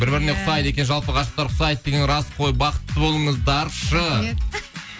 бір біріне ұқсайды екен жалпы ғашықтар ұқсайды деген рас қой бақытты болыңыздаршы рахмет